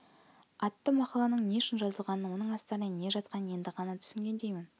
атты мақаланың не үшін жазылғанын оның астарында не жатқанын енді ғана түсінгендеймін